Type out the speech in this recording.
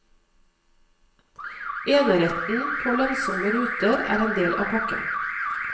Eneretten på lønnsomme ruter er en del av pakken.